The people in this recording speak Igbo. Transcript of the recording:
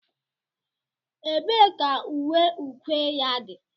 Ebee ka uwe ukwe ya dị?